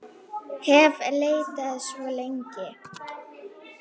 hef leitað svo lengi.